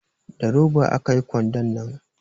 Da roba aka yi kwandon nan